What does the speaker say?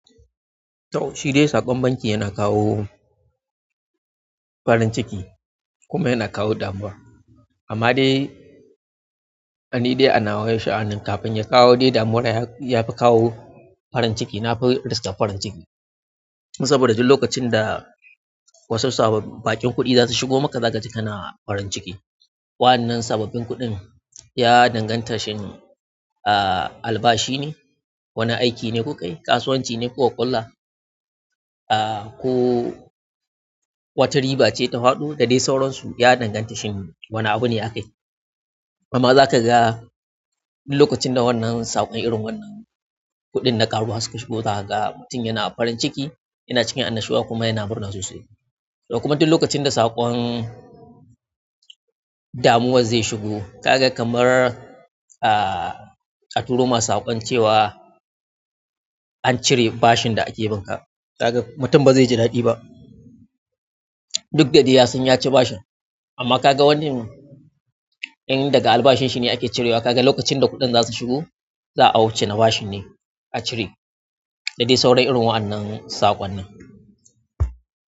Toh shidai saƙon banki yana kawo farin ciki kuma yana kawo damuwa. Amma dai ani dai anawa sha'anin kafin ya kawo dai damuwa yafi kawo farin ciki. Na fi riska farin ciki saboda duk lokacin da wasu sababbin baƙin kuɗi zasu shigo maka, zaka ji kana farin ciki. Wannan sababbin kuɗin ya danganta shin, ah, albashi ne, wani aiki ne kukayi, kasuwanci ne kuka ƙulla, ah, ko wata riba ce ta faɗo da dai sauransu. Ya danganta shin wane abu ne aka yi. Amma zaka ga lokacin da wannan saƙon irin wannan kuɗin da ƙaruwa suka shigo, zaka ga mutum yana farin ciki, yana cikin annashuwa kuma yana murna sosai. To kuma duk lokacin da saƙon damuwa zai shigo, ka ga kamar, ah, a turo ma saƙon cewa an cire bashin da ake bin ka. Ka ga mutum ba zai ji ɗadi ba. Duk da dai yasan ya ci bashin. Da dai saurayen irin wa'annan sakon nin.